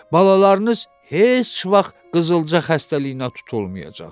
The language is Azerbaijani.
Balalarınız heç vaxt qızılca xəstəliyinə tutulmayacaq.